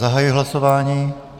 Zahajuji hlasování.